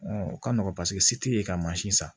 o ka nɔgɔn paseke si ti ye ka san